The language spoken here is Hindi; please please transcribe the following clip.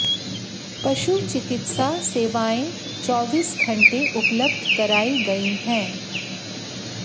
पशु चिकित्सा सेवाएं चौबीस घंटे उपलब्ध कराई गई हैं